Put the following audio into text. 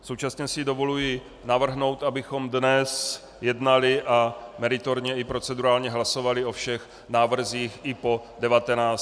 Současně si dovoluji navrhnout, abychom dnes jednali a meritorně i procedurálně hlasovali o všech návrzích i po 19. i po 21. hodině.